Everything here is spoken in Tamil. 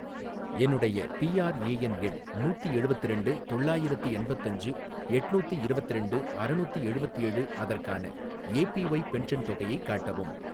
என்னுடைய பிஆர்ஏஎன் எண் நூத்தி எழுவத்திரண்டு தொள்ளாயிரத்தி எண்பத்தஞ்சு எட்நூத்தி இரவத்திரண்டு அறநூத்தி எழுவத்தேழு, அதற்கான ஏபிஒய் பென்ஷன் தொகையைக் காட்டவும்.